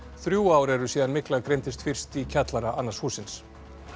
þrjú ár eru síðan mygla greindist fyrst í kjallara annars hússins